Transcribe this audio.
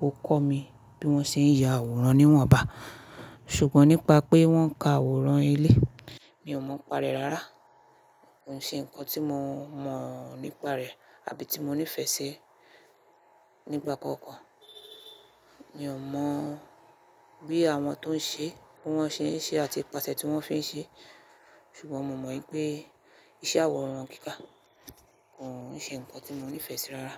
ó kọ́ mi bí wọ́n ṣe ń ya àwòrán níwọ̀nba. Ṣùgbọ́n nípa pé wọ́n ka àwòrán ilé, mi ò mọ̀ n'pa rẹ̀ rárá. Kò ṣe nǹkan tí mo mọ̀ nípa rẹ̀ tàbí tí mo nífẹ̀ẹ́ sí nígbà kóòkan. Mi ò mọ̀ bí àwọn tó ń ṣe, bí wọ́n ṣe ń ṣe àti ipasè tí wọ́n fi ń ṣe. Ṣùgbọ́n mo mọ̀ ípé iṣẹ́ àwòrán kíkà kò ṣe nǹkan tí mo nífẹ̀ẹ́ sí rárá.